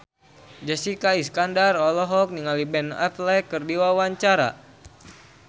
Jessica Iskandar olohok ningali Ben Affleck keur diwawancara